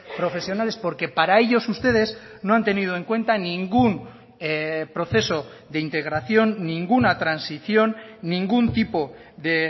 profesionales porque para ellos ustedes no han tenido en cuenta ningún proceso de integración ninguna transición ningún tipo de